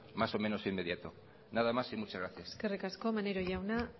más o menos inmediato nada más y muchas gracias eskerrik asko maneiro jauna